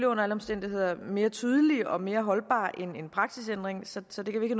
under alle omstændigheder mere tydelig og mere holdbar end en praksisændring så så det kan vi ikke